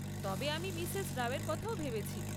তবে আমি মিসেস রাও এর কথাও ভেবেছি।